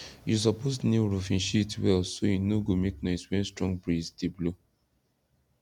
you suppose nail roofing sheet well so e no go make noise when strong breeze dey blow